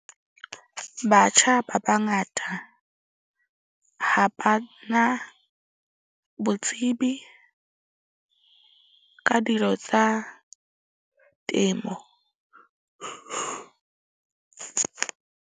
Batjha ba bangata ha ba na botsebi ka dilo tsa temo .